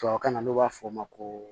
Tubabu kan na n'o b'a fɔ a ma ko